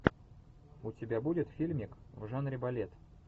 у тебя будет фильмик в жанре балет